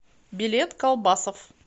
билет колбасофф